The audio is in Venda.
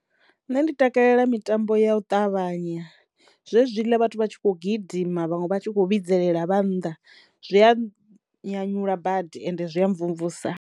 Nṋe ndi takalela mitambo ya u ṱavhanya zwezwiḽa vhathu vha tshi kho gidima vhaṅwe vha tshi kho vhidzelela vha nnḓa zwi a nyanyula badi ende zwi ya mvumvusa.